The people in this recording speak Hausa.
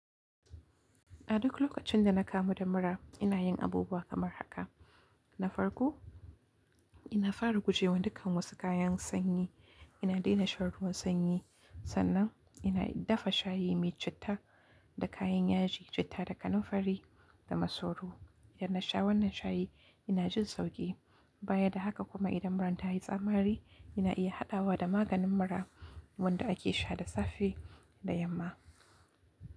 A duk lokacin da na kamu da mura, ina yin abubuwa kamar haka. Na farko, ina fara guje wa dukkan wasu kayan sanyi. Ina daina shan ruwan sanyi. Sannan ina dafa shayi mai citta da kayan yaji, citta da kananfari da masoro. Idan na sha wannan shayi, ina jin sauƙi. Baya da haka kuma idan muran ta yi tsamari, ina iya haɗawa da maganin mura wanda ake sha da safe da yamma.